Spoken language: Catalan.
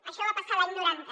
això va passar l’any noranta